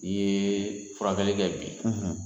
I ye furafɛnlɛ de bi